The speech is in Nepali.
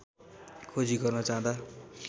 खोजी गर्न जाँदा